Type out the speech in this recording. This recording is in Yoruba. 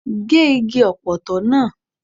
Gé igi Ọ̀pọ̀tọ́ náà!